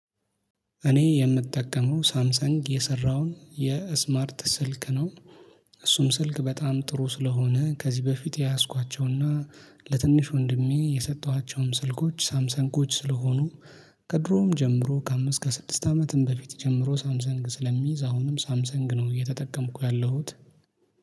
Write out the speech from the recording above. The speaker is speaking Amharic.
እኔ የምጠቀመው ሳምሰንግ የሰራውን የስማርት ስልክ ነው። እሱም ስልክ በጣም ጥሩ ስለሆነ ከዚህ በፊት የያዝኳቸውና ለትንሽ ወንድሜ የሰጠኋቸውም ስልኮች ሳምሰንጎች ስለሆኑ። ከድሮም ጀምሮ ከአምስት ከስድስት አመትም በፊት ጀምሮ ሳምሰንግ ስለሚይዝ አሁንም ሳምሰንግ ነው እየተጠቀምኩ ያለሁት